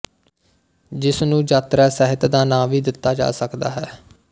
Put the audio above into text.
ਜਿਸ ਨੂੰ ਯਾਤਰਾ ਸਾਹਿਤ ਦਾ ਨਾਂ ਵੀ ਦਿੱਤਾ ਜਾ ਸਕਦਾ ਹੈ